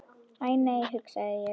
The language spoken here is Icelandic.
Æ, nei hugsa ég.